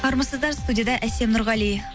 армысыздар студияда әсем нұрғали